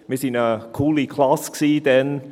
Wir waren eine coole Klasse damals.